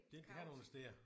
Det er ikke her du investerer